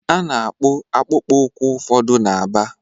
A na-akpụ akpụkpọ ụkwụ ụfọdụ na Aba.